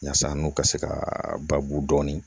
Yaasa n'u ka se ka baabu dɔɔni